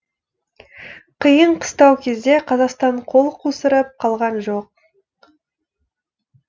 қиын қыстау кезде қазақстан қол қусырып қалған жоқ